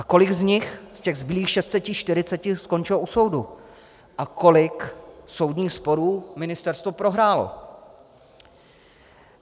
A kolik z nich, z těch zbylých 640, skončilo u soudu, a kolik soudních sporů ministerstvo prohrálo?